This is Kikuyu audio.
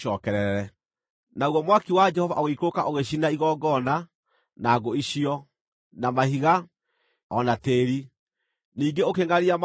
Naguo mwaki wa Jehova ũgĩikũrũka ũgĩcina igongona, na ngũ icio, na mahiga, o na tĩĩri, ningĩ ũkĩngʼaria maaĩ marĩa maarĩ mũtaro.